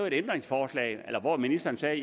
et ændringsforslag eller at ministeren sagde